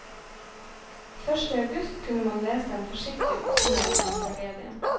Først i august kunne man lese en forsiktig oppsummering av tragedien.